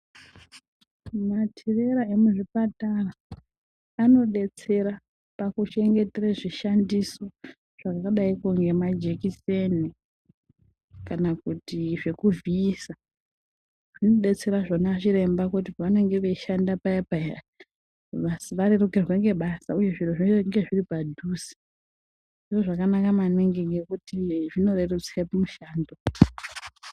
Matirera emuzvipatara anodetsera pakuchengeterwe zvishandiso zvakadai kungemajekiseni kana kuti zvekuvhiyisa ,zvinodetsera zvona ana chiremba kuti pavanenge veyishanda paya paya varerukirwe ngebasa uye zviro zvinge zviripadhuze. Zvintu zvakanaka maningi ngekuti zvinorerutse mushando.